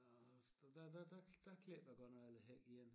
A havde haft og der der der der klippede a godt nok al a hæk ene